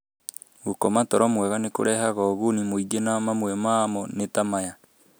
Gũkoma toro mwega nĩ kũrehaga ũguni mũingĩ, na mamwe mamo nĩ ta maya: